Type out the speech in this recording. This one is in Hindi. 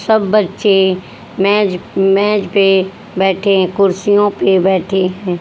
सब बच्चे मेज मेज पे बैठे हैं कुर्सियों पे बैठे हैं।